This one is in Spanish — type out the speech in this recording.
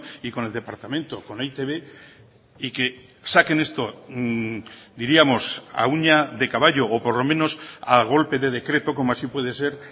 y con el departamento con e i te be y que saquen esto diríamos a uña de caballo o por lo menos a golpe de decreto como así puede ser